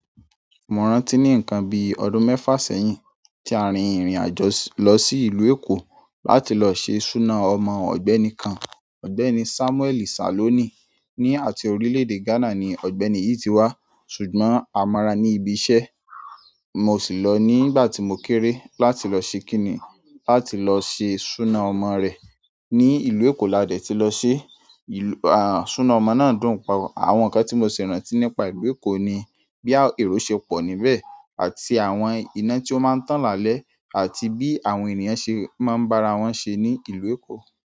Mo rántí ní nǹkan bi ọdún mẹ́fà sẹ́yìn tí a rìn ìrìn àjò lọ sí ìlú Èkó láti lọ ṣe suna ọmọ ọ̀gbẹ́ni kan. Ọ̀gbẹ́ni Samuel Saloni ni àti orílédé Ghana ni ọ̀gbẹ́ni yìí ti wá ṣùgbọ́n a mo ra ní ibi iṣẹ́ mo sì lọ nígbà tí mo kéré láti lọ ṣe kíni, láti lọ ṣe suna ọmọ rẹ̀ ní ìlú Èkó la dẹ̀ ti lọ ṣe. Ìlú aà suna ọmọ náà dúnpa. Àwọn nǹkan tí mo sì rántí nípa ìlú Èkó ni bí àwọn èrò ṣe pọ̀ níbẹ̀ àti àwọn iná tí ó máa ń tàn lálẹ́ àti bí àwọn ènìyàn ṣe máa ń bá ara wọn ṣe ní ìlú Èkó.